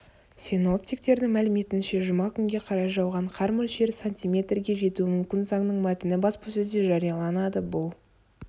синоптиктердің мәліметінше жұма күнге қарай жауған қар мөлшері сантиметрге жетуі мүмкін заңның мәтіні баспасөзде жарияланады бұл